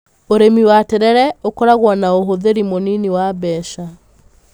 Ũrĩmi wa terere ũkoragwo na ũhũthĩri mũnini wa mbeca.